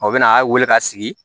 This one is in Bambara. O bɛna a weele ka sigi